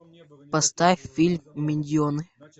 поставь фильм миньоны